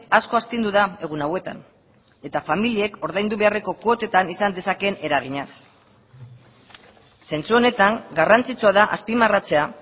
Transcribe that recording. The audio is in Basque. asko astindu da egun hauetan eta familiek ordaindu beharreko kuotetan izan dezakeen eraginaz zentzu honetan garrantzitsua da azpimarratzea